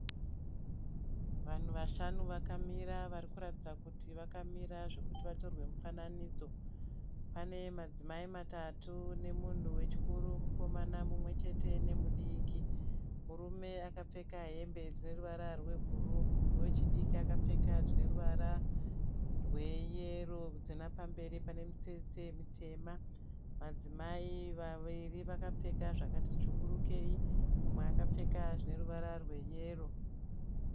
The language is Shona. Vanhu vashanu vakamira vari kuratidza kuti vakamira zvekuti vatorwe mufanidzo. Pane madzimai matatu nemunhu wechikuru mukomana mumwe chete nemudiki. Murume akapfeka hembe dzine ruvara rwebhuruu. Wechidiki akapfeka zvine ruvara rweyero dzine pamberi pane mitsetse mutema. Madzimai vaviri vakapfeka zvakati tsvukurukeyi mumwe akapfeka zvine ruvara rweyero.